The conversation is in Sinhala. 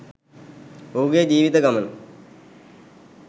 ඔහුගේ ජීවිත ගමන